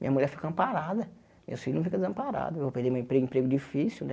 Minha mulher fica amparada, meus filhos não ficam desamparados, eu vou perder meu emprego um emprego difícil né.